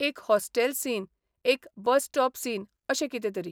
एक hostel scene, एक bus stop scene अशें कितें तरी.